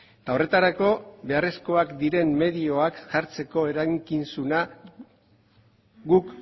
eta horretarako beharrezkoak diren medioak jartzeko erantzukizuna guk